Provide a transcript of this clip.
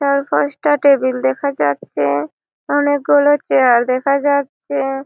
চার পাঁচ টা টেবিল দেখা যাচ্ছে। অনকে গুলো চেয়ার দেখা যাচ্ছে।